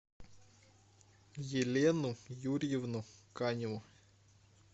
елену юрьевну каневу